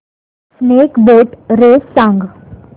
snake boat race सांग